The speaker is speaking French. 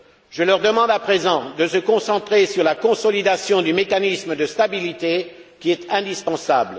Je leur demande à présent de se concentrer sur la consolidation du mécanisme de stabilité qui est indispensable.